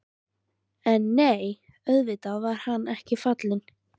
En nei, auðvitað var hann ekki fallinn.